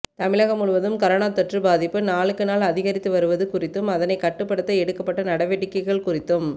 தமிழகம் முழுவதும் கரோனா தொற்று பாதிப்பு நாளுக்கு நாள் அதிகரித்து வருவது குறித்தும் அதனை கட்டுப்படுத்த எடுக்கப்பட்ட நடவடிக்கைகள் குறித்தும்